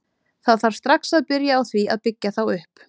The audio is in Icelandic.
Það þarf strax að byrja á því að byggja þá upp.